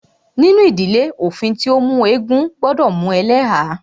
Nínú ìdílé, òfin tí o mú eégún gbọdọ mú ẹlẹ́há.